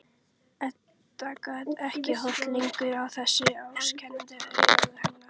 Edda gat ekki horft lengur í þessi ásakandi augu hennar.